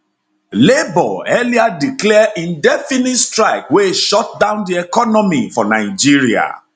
labour earlier declare indefinite strike wey shutdown di economy for nigeria